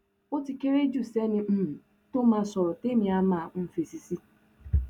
ó ti kéré jù sẹni um tó máa sọrọ tẹmí àá máa um fèsì sí